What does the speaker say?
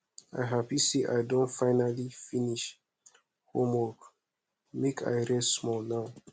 i happy sey i don finally finish homework make i rest small now